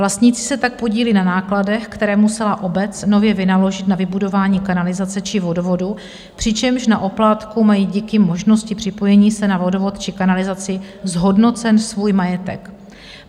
Vlastníci se tak podílí na nákladech, které musela obec nově vynaložit na vybudování kanalizace či vodovodu, přičemž na oplátku mají díky možnosti připojení se na vodovod či kanalizaci zhodnocen svůj majetek.